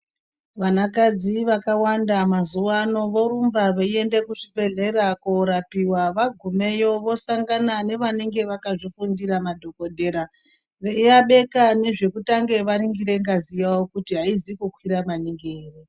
Vanakadzi vakawanda mazuwano vorumba veienda kuzvibhehleya korapiwa vagumeyo vosangana nevanenge vakazvifundira madhokodheya veiabeka nezvekutange vaningira ngazi yawo kuti haizi kukwira maningi ere.